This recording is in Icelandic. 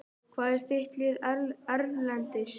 Hvað er þitt lið erlendis?